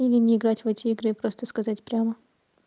или не играть в эти игры и просто сказать прямо